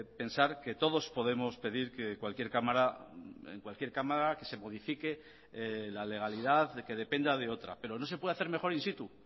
pensar que todos podemos pedir que cualquier cámara en cualquier cámara que se modifique la legalidad de que dependa de otra pero no se puede hacer mejor in situ